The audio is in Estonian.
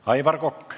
Aivar Kokk.